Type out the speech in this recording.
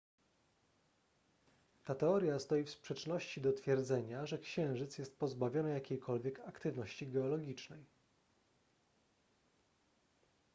ta teoria stoi w sprzeczności do twierdzenia że księżyc jest pozbawiony jakiejkolwiek aktywności geologicznej